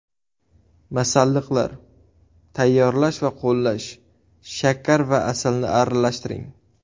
Masalliqlar: Tayyorlash va qo‘llash: Shakar va asalni aralashtiring.